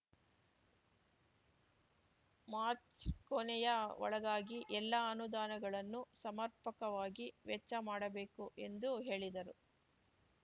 March ಕೊನೆಯ ಒಳಗಾಗಿ ಎಲ್ಲಾ ಅನುದಾನಗಳನ್ನು ಸಮರ್ಪಕವಾಗಿ ವೆಚ್ಚ ಮಾಡಬೇಕು ಎಂದು ಹೇಳಿದರು